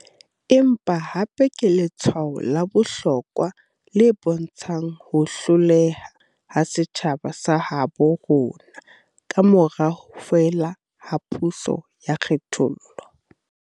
Empa hape ke letshwao la bohlokwa le bontshang ho hloleha ha setjhaba sa habo rona kamora ho fela ha puso ya kgethollo.